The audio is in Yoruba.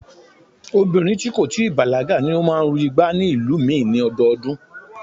Obìnrin tí kò tí ì bàlágà ni ó máa ń ru igbá ní ìlú mi ni ọdọọdún